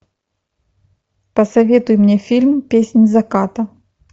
посоветуй мне фильм песнь заката